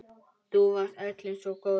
Þú varst öllum svo góður.